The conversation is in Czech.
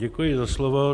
Děkuji za slovo.